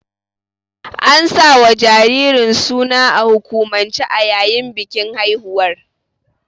An sawa jaririn suna a hukumance a yayin bikin haihuwar.